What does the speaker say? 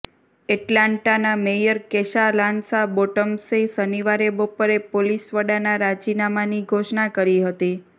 એટલાન્ટાના mayor Keisha Lance બોટમ્સે શનિવારે બપોરે પોલીસ વડાના રાજીનામાની ઘોષણા કરી હતી